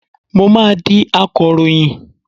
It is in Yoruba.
Mo máa di akọ̀ròyìn.